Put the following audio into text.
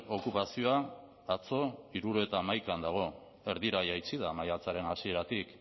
okupazioa atzo hirurogeita hamaikan dago erdira jaitsi da maiatzaren hasieratik